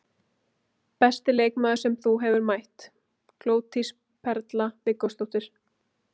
Besti leikmaður sem þú hefur mætt: Glódís Perla Viggósdóttir.